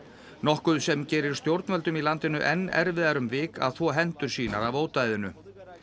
nokkuð sem gerir stjórnvöldum í landinu enn erfiðara um vik að þvo hendur sínar af ódæðinu